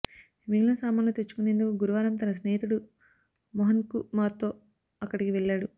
మిగిలిన సామాన్లు తెచ్చుకునేందుకు గురువారం తన స్నేహితుడు మోహన్కుమార్తో అక్కడికి వెళ్లాడు